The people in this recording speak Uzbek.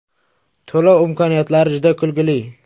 To‘lov imkoniyatlari juda kulgili.